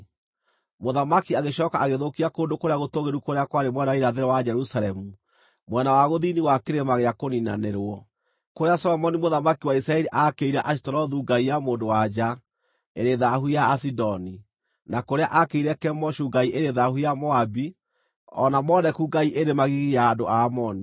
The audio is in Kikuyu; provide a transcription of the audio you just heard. Mũthamaki agĩcooka agĩthũkia kũndũ kũrĩa gũtũũgĩru kũrĩa kwarĩ mwena wa irathĩro wa Jerusalemu, mwena wa gũthini wa Kĩrĩma gĩa Kũniinanĩrwo, kũrĩa Solomoni mũthamaki wa Isiraeli aakĩire Ashitorethu ngai ya mũndũ-wa-nja ĩrĩ thaahu ya Asidoni, na kũrĩa aakĩire Kemoshu ngai ĩrĩ thaahu ya Moabi, o na kwa Moleku ngai ĩrĩ magigi ya andũ a Amoni.